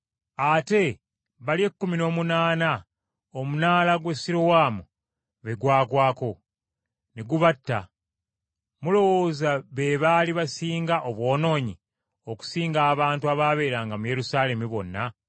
Ate bali ekkumi n’omunaana omunaala gwa Sirowamu be gwagwako, ne gubatta, mulowooza be baali basinga obwonoonyi okusinga abantu abaabeeranga mu Yerusaalemi bonna?